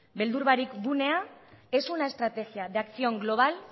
beldur barik gunea es una estrategia de acción global